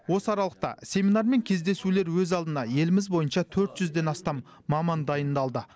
осы аралықта семинар мен кездесулер өз алдына еліміз бойынша төрт жүзден астам маман дайындалды